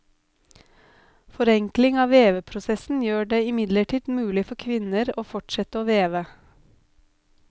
Forenkling av veveprosessen gjør det imidlertid mulig for kvinner å fortsette å veve.